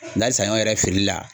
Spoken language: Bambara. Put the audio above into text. Ndɛ ali saɲɔ yɛrɛ feereli la.